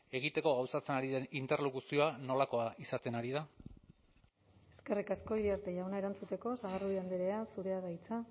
egiteko gauzatzen ari den interlokuzioa nolakoa izaten ari da eskerrik asko iriarte jauna erantzuteko sagardui andrea zurea da hitza